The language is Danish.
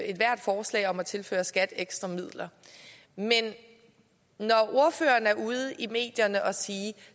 ethvert forslag om at tilføre skat ekstra midler men når ordføreren er ude i medierne og sige at